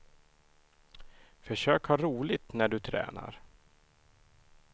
Försök att ha roligt när du tränar.